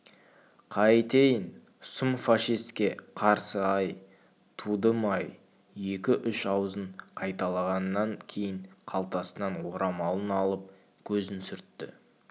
қайтейін сұм фашистке қарсы-ай тудым-ай екі-үш ауызын қайталағаннан кейін қалтасынан орамалын алып көзін сүртті